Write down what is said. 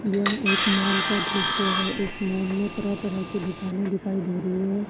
यह एक माल का दृश्य है इस मॉल में तरह तरह की दुकानें दिखाई दे रही हैं।